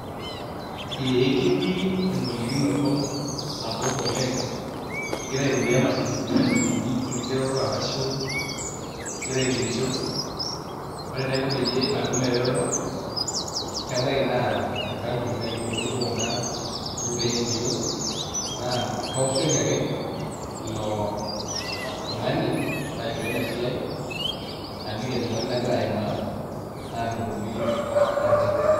Ee ketii eng'olikinoto sapuk oleng' igira aitumia imashinini orkigeroto ashu igira aigerisho ore enaiko peyie atum eretoto kebaiki naa enkampuni naigero nijio kuna ilturruri le NGOs naa kaoshoki ake ilo tung'ani laishoo ina siai naliki enyamali nagira aimaa naatumoki atareto.